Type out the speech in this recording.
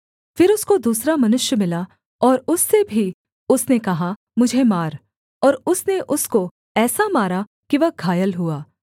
फिर उसको दूसरा मनुष्य मिला और उससे भी उसने कहा मुझे मार और उसने उसको ऐसा मारा कि वह घायल हुआ